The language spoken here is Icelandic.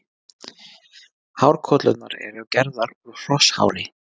Hárkollurnar eru gerðar úr hrosshári.